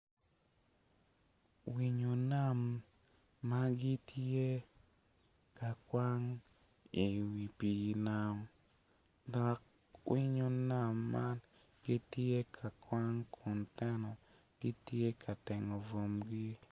Winyo nam ma gitye ka kwang i wi pii nam dok winyo nam man gitye ka kwang kun tena gitye ka tengo bwomgi